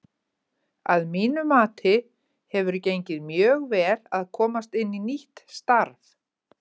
Að mínu mati hefur gengið mjög vel að komast inn í nýtt starf.